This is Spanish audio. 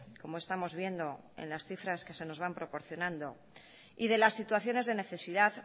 como estamos viendo en las cifras que se nos van proporcionando y de las situaciones de necesidad